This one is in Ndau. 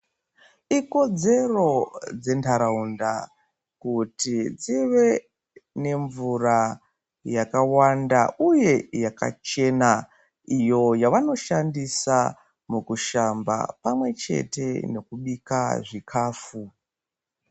Ikodzero dzentaraunda kuti dzive nemvura yakawanda, uye yakachena iyo yavanoshandisa mukushamba pamwechete nekubika chikafu.